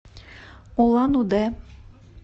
улан удэ